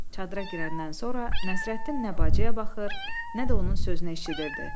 Çadıra girəndən sonra Nəsrəddin nə bacıya baxır, nə də onun sözünə eşidirdi.